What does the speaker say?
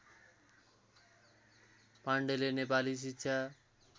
पाण्डेले नेपाली शिक्षा